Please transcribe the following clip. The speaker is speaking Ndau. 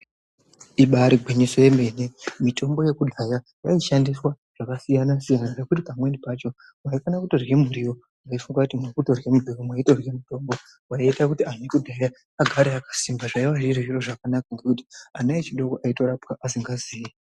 Ibari gwinyiso yemene. Mitombo yekudhaya yaishandiswa zvakasiyana -siyana nekuti pamweni pacho waifana kutorye muriwo weifunga kuti muri kutorye muriwo mweitorye mitombo. Zvaiita kuti anhu ekudhaya agare akasimba zvaive zviri zviro zvakanaka ngekuti ana adoko aitorapwa asingazii.